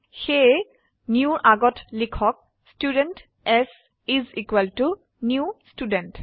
সেয়ে newৰ আগত লিখক student s is equal to new student